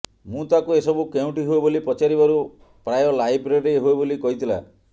ମୁଁ ତାକୁ ଏସବୁ କେଉଁଠି ହୁଏ ବୋଲି ପଚାରିବାରୁ ପ୍ରାୟ ଲାଇବ୍ରେରିରେ ହୁଏ ବୋଲି କହିଥିଲା